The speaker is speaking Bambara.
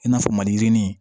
I n'a fɔ maliyirinin